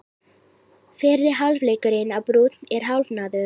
Fyrri hálfleikurinn á Brúnn er hálfnaður